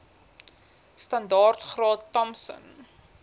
standaard graad thompson